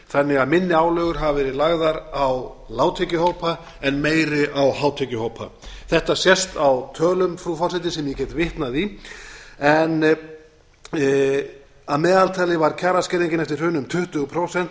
þannig að minni álögur hafa verið lagðar á lágtekjuhópa en meiri á hátekjuhópa þetta sést á tölum frú forseti sem ég get vitnað í en að meðaltali var kjaraskerðingin eftir hrunið um tuttugu prósent